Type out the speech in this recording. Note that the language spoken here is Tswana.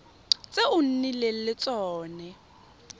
tse o nnileng le tsone